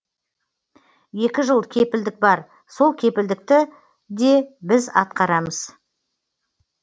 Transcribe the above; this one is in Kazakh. екі жыл кепілдік бар сол кепілдікті де біз атқарамыз